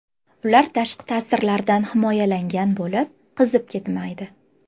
Ular tashqi ta’sirlardan himoyalangan bo‘lib, qizib ketmaydi.